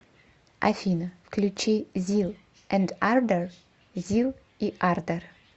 афина включи зил энд ардор зил и ардор